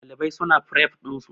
Ɗalibai su na fref ɗin su